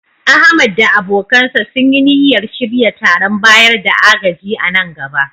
Ahmad da abokansa sun yi niyyar shirya taron bayar da agaji a nan gaba